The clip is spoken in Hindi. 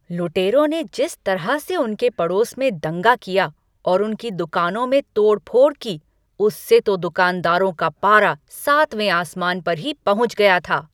लुटेरों ने जिस तरह से उनके पड़ोस में दंगा किया और उनकी दुकानों में तोड़फोड़ की उससे तो दुकानदारों का पारा सातवें आसमान पर ही पहुँच गया था।